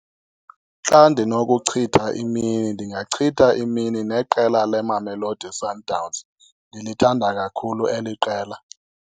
Xa ndinokuchitha imini ndingachitha imini neqela leMamelodi Sundowns, ndilithanda kakhulu eli qela.